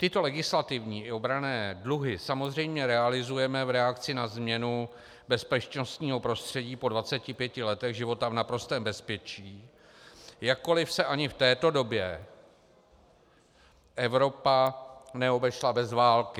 Tyto legislativní i obranné dluhy samozřejmě realizujeme v reakci na změnu bezpečnostního prostředí po 25 letech života v naprostém bezpečí, jakkoli se ani v této době Evropa neobešla bez války.